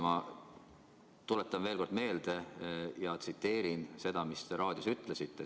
Ma tuletan veel kord meelde ja tsiteerin seda, mis te raadios ütlesite.